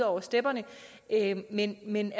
over stepperne men men